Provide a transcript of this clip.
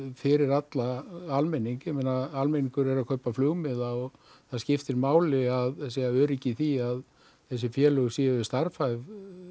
fyrir alla almenning almenningur er að kaupa flugmiða og það skiptir máli að sé öryggi í því að þessi félög séu starfhæf